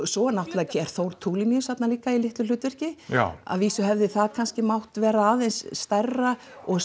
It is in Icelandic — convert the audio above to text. svo er Þór Tulinius þarna líka í litlu hlutverki já að vísu hefði það mátt vera aðeins stærra og